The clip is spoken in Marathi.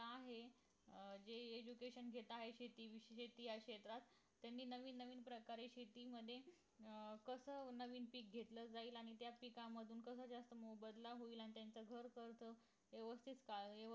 का आहे अं जे education घेत आहेत शेती शेती शेतात नवीन नवीन प्रकारे शेतीमध्ये अं कस नवीन पीक घेतलं जाईल आणि त्याच पीकामधून कसा जास्त मोबदला होईल आणि त्यांचा घर खर्च व्यवस्थित चालेल